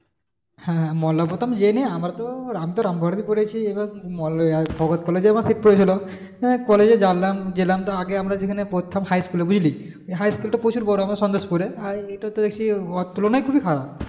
হ্যাঁ হ্যাঁ মল্লারপুর তো আমরা জানি আমরা তো আমিতো রামপুরহাটেই পড়েছি আমার sit পড়েছিল college এ জানলাম গেলাম আমরা আগে সেখানে পড়তাম high school বুঝলি ওই high school টা প্রচুর পর আমাদের সন্তোষপুরে। এটা তো দেখি থেকে ওর তুলনা খুবই খারাপ।